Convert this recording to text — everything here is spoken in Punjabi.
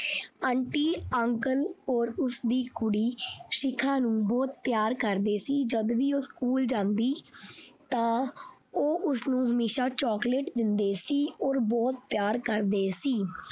Aunty Uncle or ਉਸਦੀ ਕੁੜੀ ਸ਼ਿਖਾ ਨੂੰ ਬਹੁਤ ਪਿਆਰ ਕਰਦੇ ਸੀ ਜਦ ਵੀ ਉਹ school ਜਾਂਦੀ ਤਾਂ ਉਹ ਉਸਨੂੰ ਹਮੇਸ਼ਾ chocolate ਦਿੰਦੇ ਸੀ ਬਹੁਤ ਪਿਆਰ ਕਰਦੇ ਸੀ।